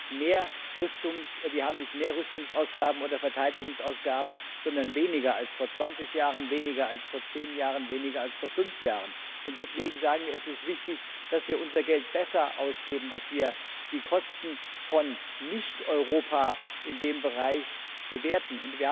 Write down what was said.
Wir haben nicht mehr Rüstungsausgaben oder Verteidigungsausgaben, sondern weniger als vor 20 Jahren, weniger als vor zehn Jahren, weniger als vor fünf Jahren. Und deswegen ist es wichtig, dass wir unser Geld besser ausgeben, dass wir die Kosten von Nicht Europa in diesem Bereich bewerten.